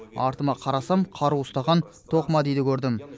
артыма қарасам қару ұстаған тоқмәдиді көрдім